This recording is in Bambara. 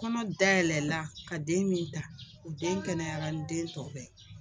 Kɔnɔ dayɛlɛla ka den min ta o den kɛnɛyara ni den tɔw bɛɛ